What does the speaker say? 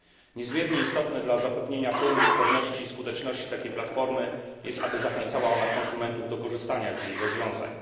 Niezmiernie istotne dla zapewnienia pełnej sprawności i skuteczności takiej platformy jest to, aby zachęcała ona konsumentów do korzystania z jej rozwiązań.